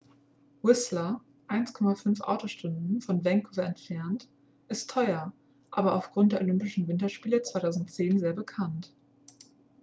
whistler 1,5 autostunden von vancouver entfernt ist teuer aber aufgrund der olympischen winterspiele 2010 sehr bekannt